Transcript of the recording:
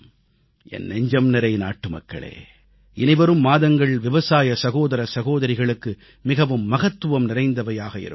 என் நெஞ்சம்நிறை நாட்டுமக்களே இனிவரும் மாதங்கள் விவசாய சகோதர சகோதரிகளுக்கு மிகவும் மகத்துவம் நிறைந்தவையாக இருக்கும்